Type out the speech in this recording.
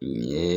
N ye